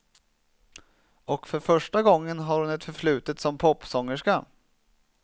Och för första gången har hon ett förflutet som popsångerska.